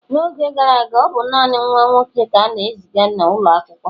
n'oge gara aga, ọ bụ naanị nwa nwoke ka a na-eziga n'ụlọ akwụkwọ